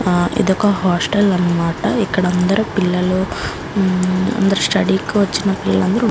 ఆ ఇదొక హాస్టల్ అనమాట ఇక్కడ అందరూ పిల్లలు మ్మ్ అందరూ స్టడీ కి వచ్చిన పిల్లలు --